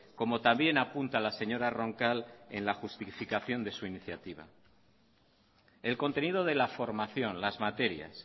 como también apunta la señora roncal en la justificación de su iniciativa el contenido de la formación las materias